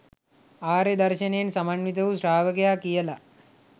ආර්ය දර්ශනයෙන් සමන්විත වූ ශ්‍රාවකයා කියල.